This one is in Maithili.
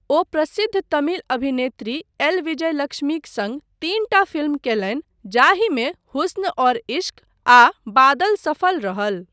ओ प्रसिद्ध तमिल अभिनेत्री एल. विजयलक्ष्मीक सङ्ग तीनटा फिल्म कयलनि जाहिमे 'हुस्न और इश्क' आ 'बादल' सफल रहल।